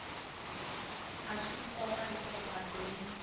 i swa nkoka leswaku vadyondzi